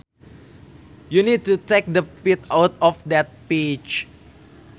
You need to take the pit out of that peach